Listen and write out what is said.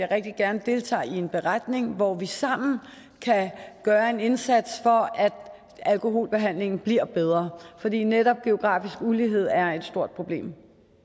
rigtig gerne deltager i en beretning hvor vi sammen kan gøre en indsats for at alkoholbehandlingen bliver bedre fordi netop geografisk ulighed er et stort problem